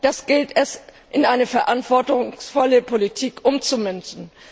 Das gilt es, in eine verantwortungsvolle Politik umzumünzen.